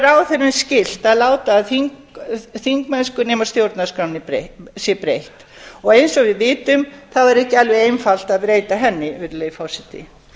að gera ráðherrum skylt að láta af þingmennsku sem stjórnarskránni sé breytt eins og við vitum er ekki alveg einfalt að breyta henni virðulegi forseti